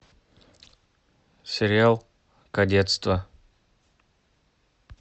сериал кадетство